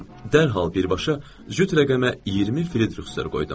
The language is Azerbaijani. Dərhal birbaşa cüt rəqəmə 20 Frederikster qoydum.